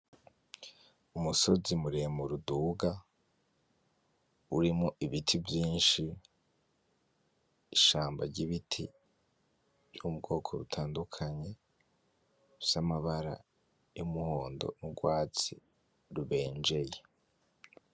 Umusozi muremure uduga urimwo ibiti vyinshi ishamba ry'ibiti vy'ubwoko butandukanye bifise amabara y'umuhondo nugwatsi rubenjeye.